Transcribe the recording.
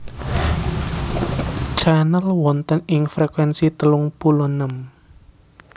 Channel wonten ing frekuensi telung puluh enem